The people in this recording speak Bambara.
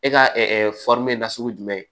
E ka nasugu jumɛn